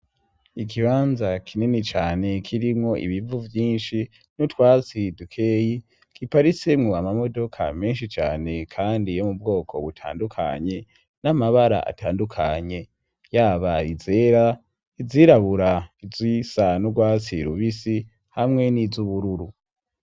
Ikibanza kinini cane kirimwo ibivu vyinshi n' utwasi dukeyi giparisemwo amamodoka menshi cane kandi yo mu bwoko butandukanye, n'amabara atandukanye ; yaba izera, izirabura, izisa n'urwatsi rubisi, hamwe n'iz'ubururu.